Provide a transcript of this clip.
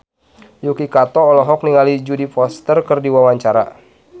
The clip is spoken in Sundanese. Yuki Kato olohok ningali Jodie Foster keur diwawancara